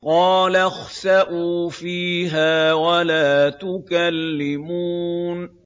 قَالَ اخْسَئُوا فِيهَا وَلَا تُكَلِّمُونِ